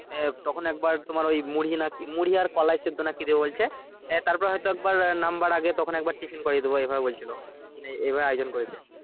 এ তখন একবার তোমার ওই মুড়ি না কি মুড়ি আর কোলাই সেদ্ধ না কি দেবে বলছে হ্যাঁ তারপরে হয়তো একবার নাম্বার আগে তখন একবার tiffin করিয়ে দেবো এই ভাবে বলছিলো মানে এইভাবে আয়োজন করেছে